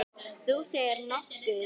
Þú segir nokkuð!